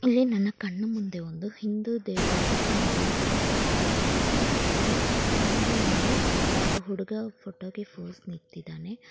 ಇಲ್ಲಿ ನನ್ನ ಕಣ್ಣು ಮುಂದೆ ಒಂದು ಹಿಂದೂ ದೇವಾಲಯದ ಒಂದು ಗೋಪುರದ ಟೈಪ್ ಇದು ಕಾಣಿಸ್ತಾಯಿದೆ. ಅದರ ಮುಂದೆ ಒಬ್ಬ ಹುಡುಗ ಫೋಟೋಗೆ ಫೋಸ್ ನಿತ್ತಿದ್ದಾನೆ.